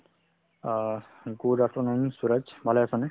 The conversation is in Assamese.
অহ্ , good afternoon সুৰজ ভালে আছানে ?